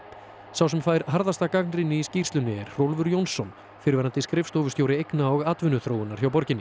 sá sem fær harðasta gagnrýni í skýrslunni er Hrólfur Jónsson fyrrverandi skrifstofustjóri eigna og atvinnuþróunar hjá borginni